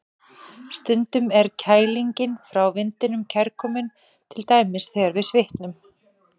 Stundum er kælingin frá vindinum kærkomin, til dæmis þegar við svitnum.